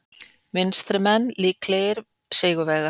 Vinstrimenn líklegir sigurvegarar